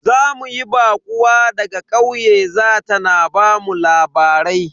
Za mu yi baƙuwa daga ƙauye za ta na bamu labarai.